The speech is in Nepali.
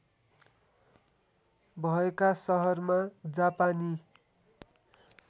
भएका सहरमा जापानी